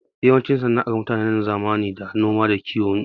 Yawancin sana'ar mutanen zamanin da noma da kiwo ne.